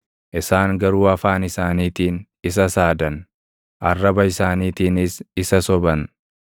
Isaan garuu afaan isaaniitiin isa saadan; arraba isaaniitiinis isa soban;